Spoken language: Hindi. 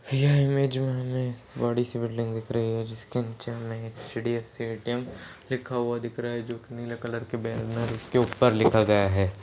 यह इमेज में हमे बड़ी सी बिल्डिंग दिख रही है जिसके नीचे हमे एच_डी_एफ_सी ए_टी_एम लिखा हुआ दिख रहा है जो कि नीले कलर की बैनर के ऊपर लिखा गया है।